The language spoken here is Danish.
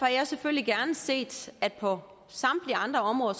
jeg selvfølgelig gerne set at regeringen på samtlige andre områder